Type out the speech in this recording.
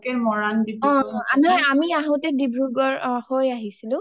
মৰাণ ডিব্ৰুগড়.আমি আহোতে ডিব্ৰুগড় হৈ আহিছিলো